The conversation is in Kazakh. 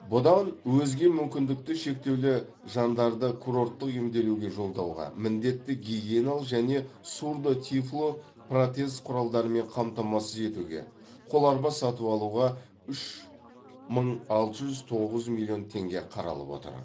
бұдан өзге мүмкіндікті шектеулі жандарды курорттық емделуге жолдауға міндетті гигиеналық және сурдо тифло протез құралдарымен қамтамасыз етуге қоларба сатып алуға үш мың алты жүз тоғыз миллион теңге қаралып отыр